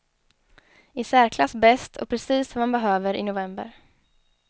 I särklass bäst och precis vad man behöver i november.